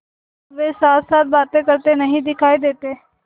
अब वे साथसाथ बातें करते नहीं दिखायी देते